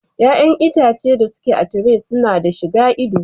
Ƴaƴan itace da su ke a tire su na da shi gan ido.